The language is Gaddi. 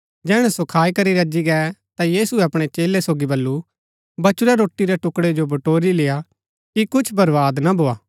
जैहणै सो खाई करी रजी गै ता यीशुऐ अपणै चेलै सोगी बल्लू बचुरै रोटी रै टुकड़ै जो बटोरी लेआ कि कुछ बर्वाद ना भोआ